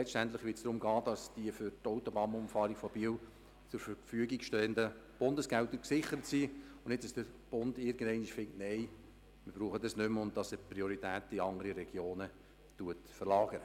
Letztendlich wird es darum gehen, die Autobahnumfahrung von Biel durch zur Verfügung stehende Bundesgelder zu sichern und den Bund nicht zu frustrieren, sodass er die Prioritäten in andere Regionen verlegt.